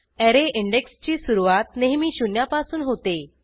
array इंडेक्सची सुरूवात नेहमी शून्यापासून होते